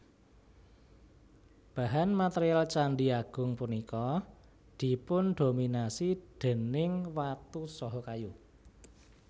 Bahan material Candhi Agung punika dipundominasi déning watu saha kayu